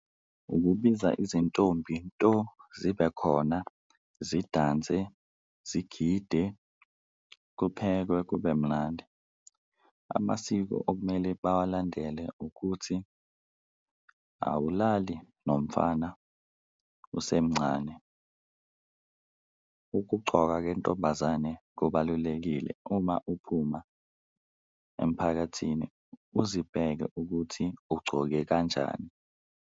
Ukubiza izintombi nto zibe khona, zidanse, zigide, kuphekwe kube mnandi, amasiko okumele bawalandele ukuthi awulali nomfana usemncane. Ukugcoka kentombazane kubalulekile uma uphuma emphakathini uzibheke ukuthi ugcoke kanjani.